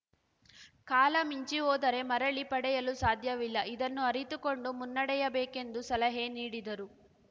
ಕಾಲ ಮಿಂಚಿ ಹೋದರೆ ಮರಳಿ ಪಡೆಯಲು ಸಾಧ್ಯವಿಲ್ಲ ಇದನ್ನು ಅರಿತುಕೊಂಡು ಮುನ್ನಡೆಯಬೇಕೆಂದು ಸಲಹೆ ನೀಡಿದರು